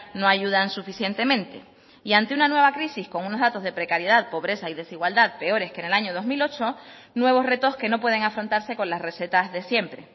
no ayudan suficientemente y ante una nueva crisis con unos datos de precariedad pobreza y desigualdad peores que en el año dos mil ocho nuevos retos que no pueden afrontarse con las recetas de siempre